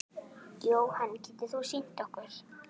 Jóhann: Getur þú sýnt okkur?